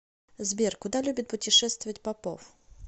сбер куда любит путешествовать попов